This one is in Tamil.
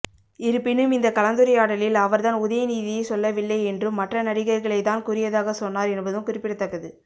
இருப்பினும் இந்த கலந்துரையாடலில் அவர் தான் உதயநிதியை சொல்லவில்லை என்றும் மற்ற நடிகர்களை தான் கூறியதாக சொன்னார் என்பதும் குறிப்பிடத்தக்கது